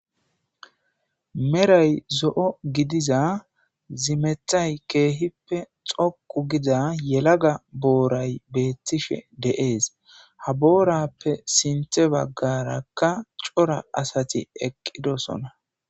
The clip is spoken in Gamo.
Mdhoy zo7o gidiza zimeththay dhoqu giza yelaga booray beetishe dees ha boorafe sinththebaggara asatide7oosona.